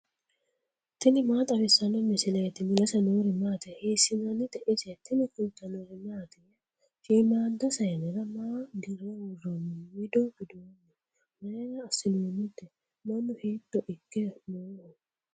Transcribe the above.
tini maa xawissanno misileeti ? mulese noori maati ? hiissinannite ise ? tini kultannori mattiya? Shiimmada sayiinnera maa dire woroonni wido widoonni? mayiira asinoonnitte? mannu hiitto ikke nooho?